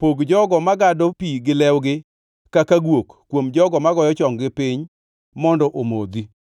“Pog jogo magado pi gi lewgi kaka guok kuom jogo magoyo chong-gi piny mondo omodhi.”